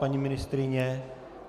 Paní ministryně?